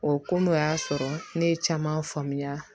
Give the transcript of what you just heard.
O ko n'o y'a sɔrɔ ne ye caman faamuya